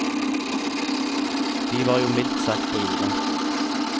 De var jo mildt sagt på jordet.